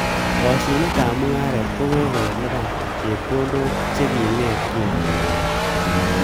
Kashinetab mungaret ko ko kelipan chepkondok chekinget kingoit